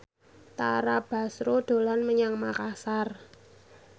Tara Basro dolan menyang Makasar